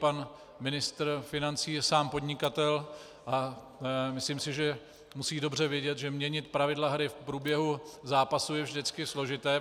Pan ministr financí je sám podnikatel a myslím si, že musí dobře vědět, že měnit pravidla hry v průběhu zápasu je vždycky složité.